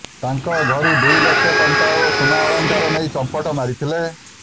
ତାଙ୍କ ଘରୁ ଦୁଇ ଲକ୍ଷ ଟଙ୍କା ଓ ସୁନା ଅଳଙ୍କାର ନେଇ ଚମ୍ପଟ ମାରିଥିଲେ